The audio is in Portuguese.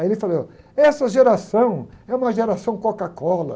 Aí ele falou, essa geração é uma geração Coca-Cola.